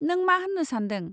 नों मा होननो सानदों?